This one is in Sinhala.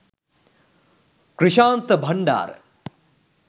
krishantha bandara